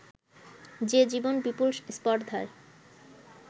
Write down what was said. যে জীবন বিপুল স্পর্ধায়